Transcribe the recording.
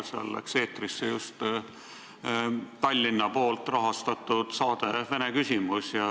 Seal läks eetrisse just Tallinna rahastatud saade "Vene küsimus".